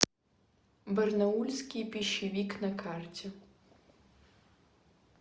барнаульский пищевик на карте